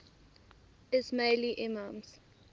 ismaili imams